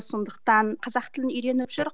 сондықтан қазақ тілін үйреніп жүр